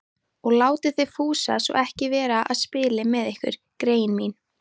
Og látið þið Fúsa svo ekki vera að spila með ykkur, greyin mín